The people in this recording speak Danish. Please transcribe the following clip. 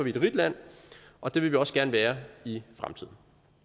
et rigt land og det vil vi også gerne være i fremtiden